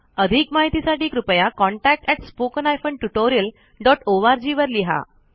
अधिक माहितीसाठी कृपया contactspoken tutorialorg वर लिहा